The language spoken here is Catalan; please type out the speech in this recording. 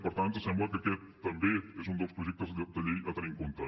per tant ens sembla que aquest també és un dels projectes de llei a tenir en compte